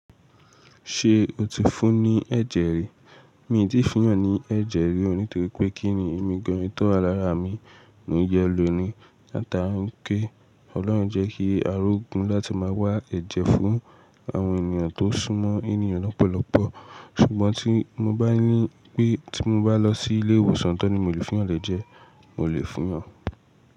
Ṣé o ti fún ní ẹ̀jẹ̀ rí? Mi ò tí fún èèyàn ni ẹ̀jẹ̀ rí o nítorí pé kí ni èmi gan in tó wà lára mi mo ń yọ lóò ni. Láta n ké, Ọlọ́run ojẹ́ kí a ri ogun láti má a wá ẹ̀jẹ̀ fún àwọn ènìyàn tó sú mọ́ ènìyàn lọ́pọ̀lọpọ̀. Ṣùgbọ́n tí mo bá ní pé tí mo bá lọ sí ilé ìwòsàn tán ni mo lè fún yan l’ẹ́jẹ́, mo lè fún yan.